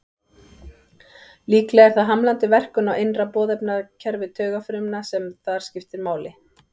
Líklega er það hamlandi verkun á innra boðefnakerfi taugafrumna sem þar skiptir máli.